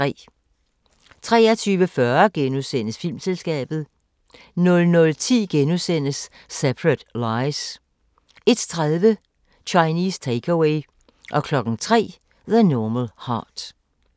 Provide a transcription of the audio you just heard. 23:40: Filmselskabet * 00:10: Separate Lies * 01:30: Chinese Take-Away 03:00: The Normal Heart